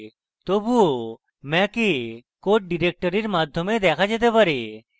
তবুও mac এ code directory মাধ্যমে দেখা যেতে পারে